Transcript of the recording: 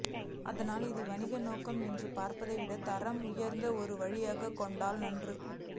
ஆதலால் இதை வணிக நோக்கு என்று பார்ப்பதை விட தரம் உயர்த்த ஒரு வழியாக கொண்டால் நன்று